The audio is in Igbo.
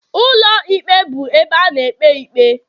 Ụlọ ikpe bụ ụlọ ebe a na-ekpe ikpe